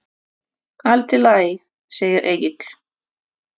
Allt í lagi, segir Egill.